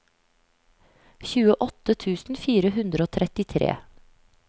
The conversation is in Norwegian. tjueåtte tusen fire hundre og trettitre